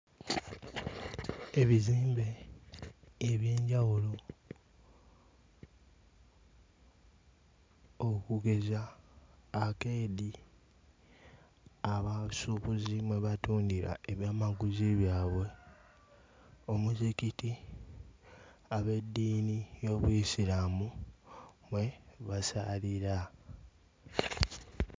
Ebizimbe eby'enjawulo okugeza arcade abasuubuzi mwe batundira ebyamaguzi byabwe. Omuzikiti ab'eddiini y'Obuyisiraamu mwe basaalira.